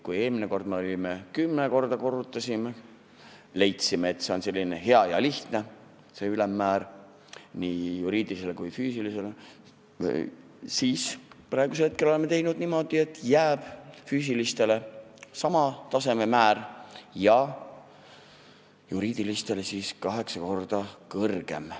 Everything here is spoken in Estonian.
Kui me eelmine kord kümme korda korrutasime ja leidsime, et see ülemmäär on selline hea ja lihtne nii juriidilisel kui ka füüsilisel isikul, siis praegu oleme teinud niimoodi, et füüsilistel isikutel jääb sama määr ja juriidilistel on see kaheksa korda kõrgem.